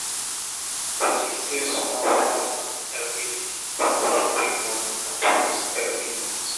to dey save small small moni everi day to drop big moni at once everi month